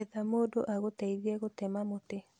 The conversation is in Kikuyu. Etha mũndũ agũteithie gũtema mũtĩ